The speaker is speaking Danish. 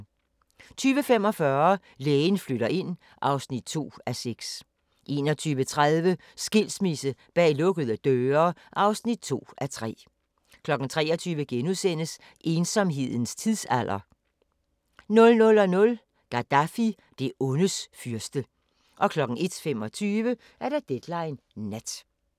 20:45: Lægen flytter ind (2:6) 21:30: Skilsmisse bag lukkede døre (2:3) 23:00: Ensomhedens tidsalder * 00:00: Gaddafi – det ondes fyrste 01:25: Deadline Nat